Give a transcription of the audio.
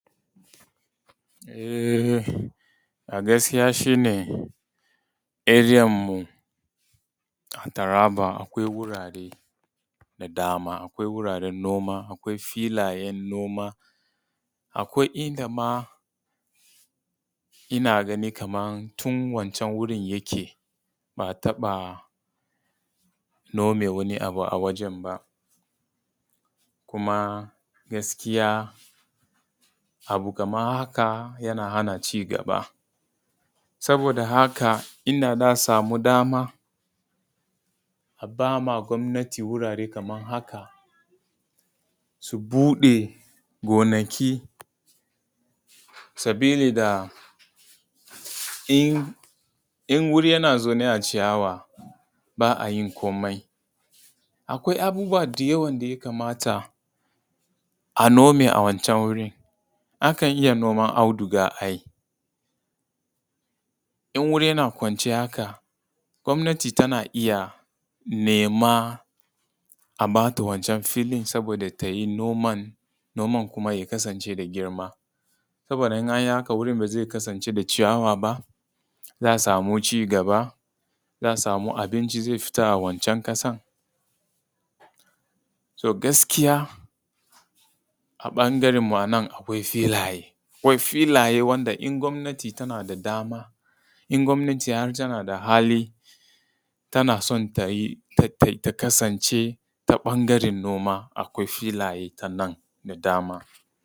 Eh a gaskiya shi ne a area mu a taraba akwai gurare da dama, akwai wuraren noma, akwai filayen noma, akwai inda ma ina ganin kaman tun wancan wurin yake ba a taɓa nome wani abu a wajan ba, kuma gaskiya abu kaman haka yana hana cigaba. Saboda haka inda za a samu dama a ba wa gwamnati wurare kaman haka su buɗe gonaki sabili da in guri yana zaune a ciyawa ba a yin komai akwai abubuwa dayawa daya kamata a nome a wancan wurin. Akan iya noman audiga ai in wuri yana kwance haka gwamnati tana iya nema a bata wancan filin saboda tayi noman, noman kuma ya kasance da girma saboda in anyi haka wurin ba zai kasance da ciyawa ba, za a samu cigaba, za a samu abinci zai fita a wancan ƙasan, to gaskiya a ɓangaren ma nan akwai filaye, akwai filaye wanda in gwamnati tana da dama, in gwamnati har tana da hali tana son ta kasance ta ɓangaren noma akwai filaye ta nan da dama.